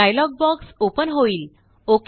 एक dialog box open होईल